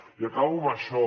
i acabo amb això